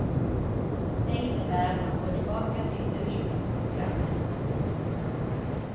Det innebär att man går tillbaka till ursprungsprogrammet.